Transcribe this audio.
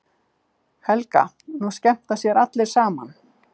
Helga: Nú skemmta sér allir saman?